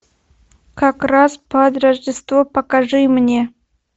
как раз под рождество покажи мне